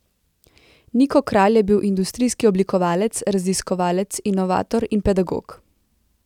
Niko Kralj je bil industrijski oblikovalec, raziskovalec, inovator in pedagog.